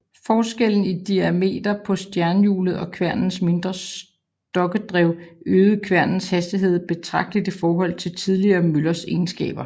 Forskellen i diameter på stjernhjulet og kværnenes mindre stokkedrev øgede kværnenes hastighed betragteligt i forhold til tidligere møllers egenskaber